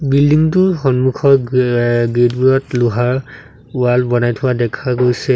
Building টোৰ সন্মুখত এ গ্ৰীল বোৰত লোহাৰ ৱাল বনাই থোৱা দেখা গৈছে।